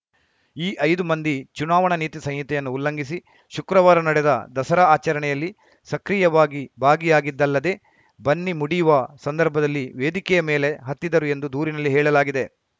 ಈ ಐದು ಮಂದಿ ಚುನಾವಣಾ ನೀತಿ ಸಂಹಿತೆಯನ್ನು ಉಲ್ಲಂಘಿಸಿ ಶುಕ್ರವಾರ ನಡೆದ ದಸರಾ ಆಚರಣೆಯಲ್ಲಿ ಸಕ್ರಿಯವಾಗಿ ಭಾಗಿಯಾಗಿದ್ದಲ್ಲದೆ ಬನ್ನಿ ಮುಡಿಯುವ ಸಂದರ್ಭದಲ್ಲಿ ವೇದಿಕೆಯ ಮೇಲೆ ಹತ್ತಿದ್ದರು ಎಂದು ದೂರಿನಲ್ಲಿ ಹೇಳಲಾಗಿದೆ